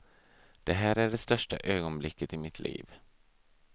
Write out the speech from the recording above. Det här är det största ögonblicket i mitt liv.